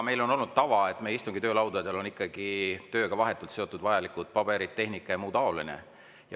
Meil on olnud tava, et meie istungi on töölaudadel ikkagi vaid tööga vahetult seotud vajalikud paberid, tehnika ja muu taoline.